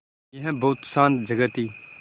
यह बहुत शान्त जगह थी